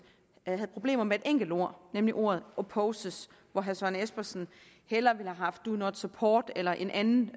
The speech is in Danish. havde problemer med et enkelt ord nemlig ordet opposes hvor herre søren espersen hellere ville have haft do not support eller en anden